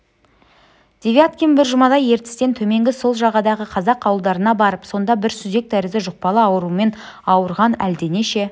девяткин бір жұмадай ертістен төменгі сол жағадағы қазақ ауылдарына барып сонда бір сүзек тәрізді жұқпалы аурумен ауырған әлденеше